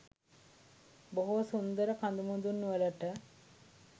බොහෝ සුන්දර කදුමුදුන් වලට